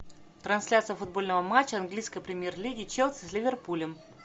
трансляция футбольного матча английской премьер лиги челси с ливерпулем